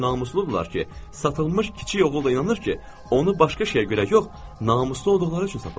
O qədər namusludurlar ki, satılmış kiçik oğul da inanır ki, onu başqa şeyə görə yox, namuslu olduqları üçün satıblar.